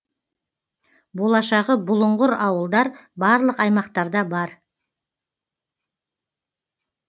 болашағы бұлыңғыр ауылдар барлық аймақтарда бар